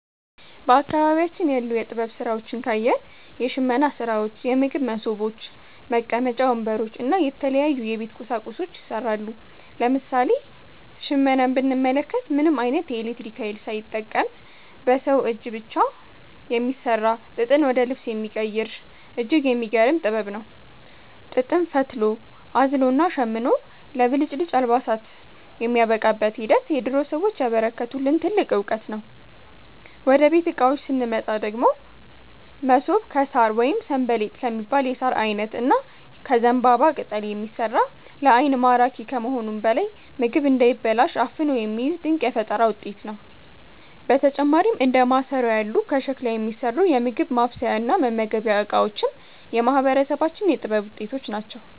በአካባቢያችን ያሉ የጥበብ ሥራዎችን ካየን፣ የሽመና ሥራዎች፣ የምግብ መሶቦች፣ መቀመጫ ወንበሮች እና የተለያዩ የቤት ቁሳቁሶች ይሠራሉ። ለምሳሌ ሽመናን ብንመለከት፣ ምንም ዓይነት የኤሌክትሪክ ኃይል ሳይጠቀም በሰው እጅ ብቻ የሚሠራ፣ ጥጥን ወደ ልብስ የሚቀይር እጅግ የሚገርም ጥበብ ነው። ጥጥን ፈትሎ፣ አዝሎና ሸምኖ ለብልጭልጭ አልባሳት የሚያበቃበት ሂደት የድሮ ሰዎች ያበረከቱልን ትልቅ ዕውቀት ነው። ወደ ቤት ዕቃዎች ስንመጣ ደግሞ፣ መሶብ ከሣር ወይም 'ሰንበሌጥ' ከሚባል የሣር ዓይነት እና ከዘንባባ ቅጠል የሚሠራ፣ ለዓይን ማራኪ ከመሆኑም በላይ ምግብ እንዳይበላሽ አፍኖ የሚይዝ ድንቅ የፈጠራ ውጤት ነው። በተጨማሪም እንደ ማሰሮ ያሉ ከሸክላ የሚሠሩ የምግብ ማብሰያና መመገቢያ ዕቃዎችም የማህበረሰባችን የጥበብ ውጤቶች ናቸው።